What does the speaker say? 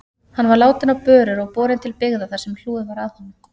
Hann var látinn á börur og borinn til byggða þar sem hlúð var að honum.